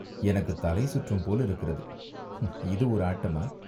எனக்குத் தலை சுற்றும் போலிருக்கிறது. ம்ம், "இது ஒரு ஆட்டமா?"